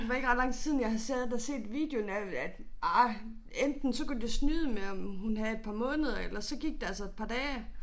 Det var ikke ret lang tid siden jeg har siddet og set videoen af at ah enten så kunne de da snyde med om hun havde et par måneder ellers så gik der altså et par dage